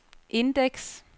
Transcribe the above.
indeks